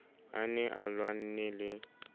a ne a lwanne le